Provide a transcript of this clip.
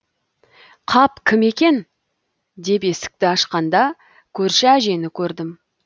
қап кім екен деп есікті ашқанда көрші әжені көрдім